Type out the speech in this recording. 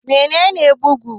Mene ne bugu?